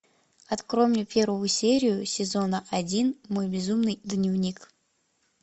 открой мне первую серию сезона один мой безумный дневник